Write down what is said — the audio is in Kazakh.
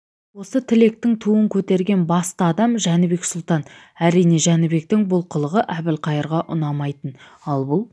осы тілектің туын көтерген басты адам жәнібек сұлтан әрине жәнібектің бұл қылығы әбілқайырға ұнамайтын ал бұл